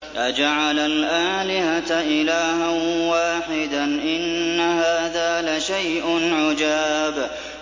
أَجَعَلَ الْآلِهَةَ إِلَٰهًا وَاحِدًا ۖ إِنَّ هَٰذَا لَشَيْءٌ عُجَابٌ